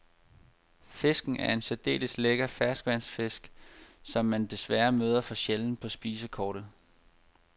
Fisken er en særdeles lækker ferskvandsfisk, som man desværre møder for sjældent på spisekortet.